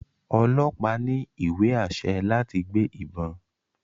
ọlọpa ní iwe-ašẹ láti gbé ìbọn